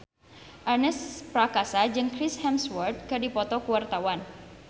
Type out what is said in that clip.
Ernest Prakasa jeung Chris Hemsworth keur dipoto ku wartawan